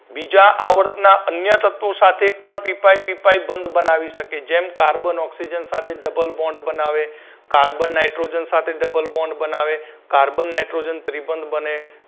બીજા આવર્તના અન્ય તત્વો સાથે પણ પી પાઇ પી પાઇ બંધ બનાવી શકે જેમ carbon oxygen સાથે double bond બનાવે carbon nitrogen સાથે double bond બનાવે carbon nitrogen ત્રિબંધ બને